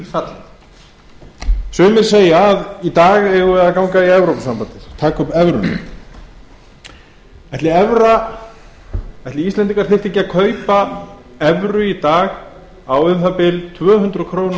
hríðfallið sumir segja að í dag eigum við að ganga í evrópusambandið taka upp evruna ætli íslendingar þyrftu ekki að kaupa evru í dag á um það bil tvö hundruð krónur